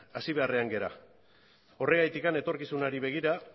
hasi beharrean gara horregatik etorkizunari begira